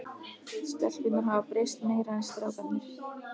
Stelpurnar hafa breyst meira en strákarnir.